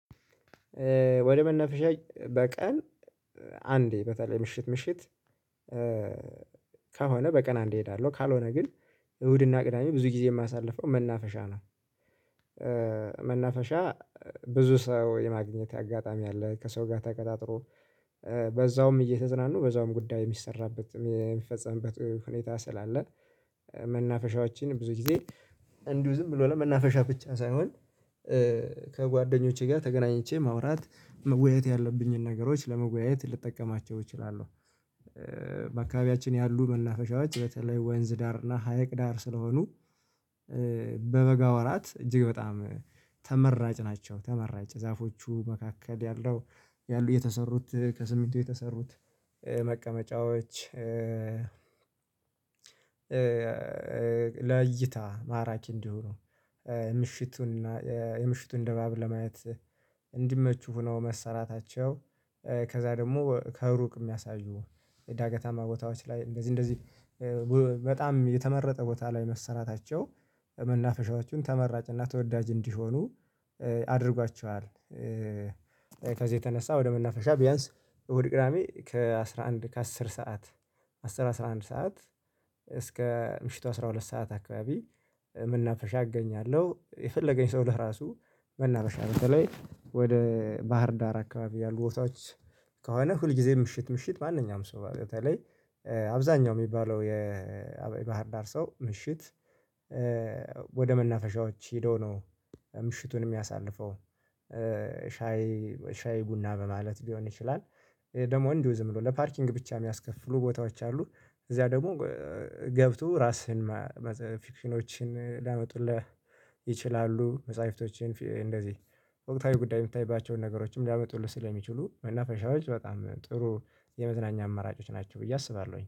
ወደ መናፈሻ በቀን አንዴ በተለይ ምሽት ምሽት ከሆነ በቀን አንድ እሄዳለሁ ካልሆነ ግን እሁድና ቅዳሜ ብዙ ጊዜ የማሳልፈው መናፈሻ ነው። መናፈሻ ብዙ ሰው የማግኘት አጋጣሚ አለ ከሰው ጋር ተቀጣጥሮ በዛውም እየተዝናኑ በዛውም ጉዳይ የሚሰራበት የሚፈጸምበት ሁኔታ ስላለ መናፈሻዎችን ብዙ ጊዜ እንዲሁ ዝም ብሎ ለመናፈሻ ብቻ ሳይሆን ከጓደኞቼ ጋር ተገናኝቼ ማውራት መወያየት ያለብኝን ነገሮች ለመወያየት ልጠቀማቸው እችላለሁ። በአካባቢያችን ያሉ መናፈሻዎች በተለይ ወንዝ ዳር እና ሀይቅ ዳር ስለሆኑ በበጋ ወራት እጅግ በጣም ተመራጭ ናቸው። ተመራጭ ዛፎቹ መካከል ያለው ያሉት የተሰሩት ከሲሚንቶ የተሰሩት መቀመጫዎች ለእይታ ማራኪ እንዲሆኑ ምሽቱን የምሽቱን ድባብ ለማየት እንዲመቹ ሆነው መሰራታቸው ከዛ ደግሞ ከሩቅ የሚያሳዩ የዳገታማ ቦታዎች ላይ እንደዚህ እንደዚህ በጣም የተመረጠ ቦታ ላይ መሰራታቸው መናፈሻዎቹን ተመራጭና ተወዳጅ እንዲሆኑ አድርጓቸዋል። ከዚህ የተነሳ ወደ መናፈሻ ቢያንስ እሁድ ቅዳሜ ከአሥራ አንድ ከአስር ሰዓት አሥር አስራ አንድ ሰዓት እስከ ምሽቱ አስራ ሁለት ሰዓት አካባቢ መናፈሻ እገኛለሁ። የፈለገኝ ሰው ለራሱ መናፈሻ በተለይ ወደ ባህር ዳር አካባቢ ያሉ ቦታዎች ከሆነ ሁልጊዜም ምሽት ምሽት ማንኛውም ሰው በተለይ አብዛኛው የሚባለው የባህር ዳር ሰው ምሽት ወደ መናፈሻዎች ሄደው ነው ምሽቱን የሚያሳልፈው። ሻይ ሻይ ቡና በማለት ሊሆን ይችላል። ደግሞ እንዲሁ ዝም ብሎ ለፓርኪንግ ብቻ የሚያስከፍሉ ቦታዎች አሉ። እዚያ ደግሞ ገብቶ ራስህን ፊክሽኖችን ሊያመጡለት ይችላሉ መጽሐፍቶችን እንደዚህ ወቅታዊ ጉዳይ የሚታይባቸውን ነገሮችን ሊያመጡልህ ስለሚችሉ መናፈሻዎች በጣም ጥሩ የመዝናኛ አማራጮች ናቸው። ብዬ አስባለሁኝ